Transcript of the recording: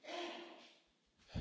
Pani Przewodnicząca!